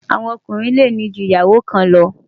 àwọn Ọkùnrin lè ní jù ìyàwó kàn lo